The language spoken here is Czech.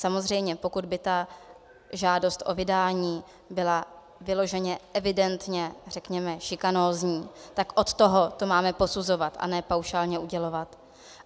Samozřejmě, pokud by ta žádost o vydání byla vyloženě evidentně řekněme šikanózní, tak od toho to máme posuzovat, a ne paušálně udělovat.